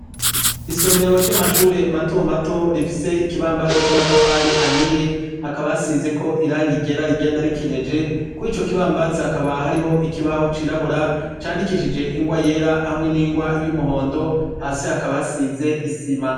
Isomero ry'amashure matomato rifise ikibambazi c'amatafari ahiye hakabasizeko iranga igera rigenda rikenyeje ku ico kibambazi hakaba hariho ikibaho cirabura candikishije ingwa yera hamwe n'ingwa y'umuhondo hasi hakaba hasize isima.